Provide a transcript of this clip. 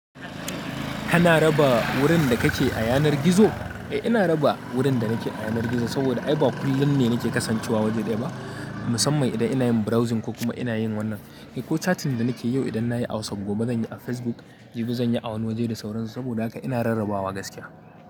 Kana raba wurin da kake a yanar gizo. Eh ina raba wurin da nake a yanar gizo saboda ay ba kullum ne nake kasancewa waje ɗaya ba musamman idan ina yin browsing ko kuma ina yin wannan eh ko chatting da nake yau idan na yi WhatsApp gobe zan yi a Facebook jibi zan yi awani waje da sauransu saboda haka ina rarrabawa gaskiya.